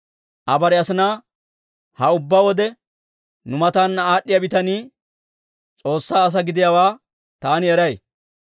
Aa bare asinaa, «Ha ubbaa wode nu mataana aad'd'iyaa bitanii S'oossaa asaa gidiyaawaa taani eray.